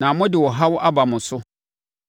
na mode ɔhaw aba mo so.”